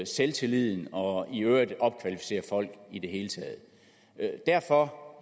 selvtilliden og i øvrigt opkvalificere folk i det hele taget derfor